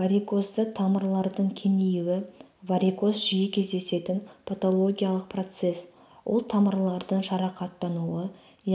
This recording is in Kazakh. варикозды тамырлардың кеңеюі варикоз жиі кездесетін патологиялық процесс ол тамырлардың жарақаттануы